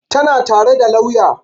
Tana tare da lauya